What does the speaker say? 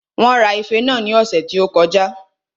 Wón ra ife náà ní ọ̀sẹ̀ tí ó kọjá